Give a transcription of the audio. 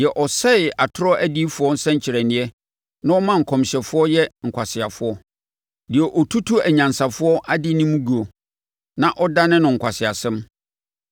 deɛ ɔsɛe atorɔ adiyifoɔ nsɛnkyerɛnneɛ na ɔma nkɔmhyɛfoɔ yɛ nkwaseafoɔ; deɛ ɔtutu anyansafoɔ adenim guo na ɔdane no nkwaseasɛm,